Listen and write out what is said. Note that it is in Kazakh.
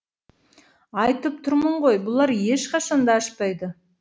айтып тұрмын ғой бұлар ешқашан да ашпайды